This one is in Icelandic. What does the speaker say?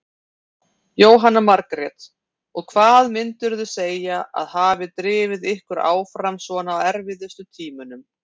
Jóhanna Margrét: Og hvað myndirðu segja að hafi drifið ykkur áfram svona á erfiðustu tímunum?